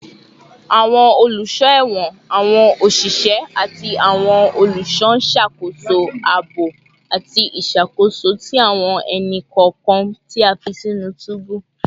Awọn oluso ẹwọn, awọn oṣiṣẹ, ati awọn oluṣọ n ṣakoso aabo ati iṣakoso ti awọn ẹni-kọọkan ti a fi sinu tubu